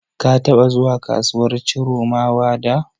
Ka taɓa zuwa kasuwar Chiromawa da?